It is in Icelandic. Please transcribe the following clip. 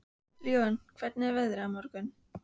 Leona, hvernig er veðrið á morgun?